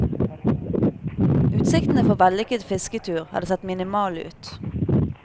Utsiktene for vellykket fisketur hadde sett minimale ut.